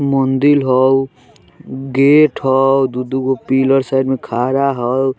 मुंदील हाउ गेट हाउ दू -दू गो पिलर साइड में खड़ा हाउ।